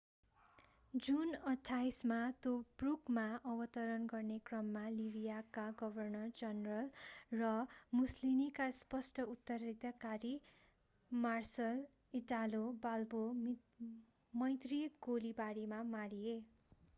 जुन 28 मा तोब्रुकमा अवतरण गर्ने क्रममा लिवियाका गभर्नर जनरल र मुसलिनीका स्पष्ट उत्तराधिकारी मार्सल इटालो बाल्बो मैत्रि गोलीबारीमा मारिए